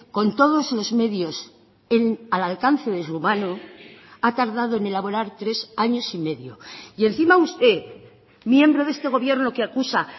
con todos los medios a la alcance de su mano ha tardado en elaborar tres años y medio y encima usted miembro de este gobierno que acusa